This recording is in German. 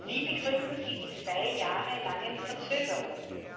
Wie begründen Sie die zwei Jahre langen Verzögerungen?